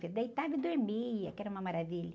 Você deitava e dormia, que era uma maravilha.